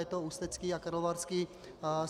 Je to Ústecký a Karlovarský.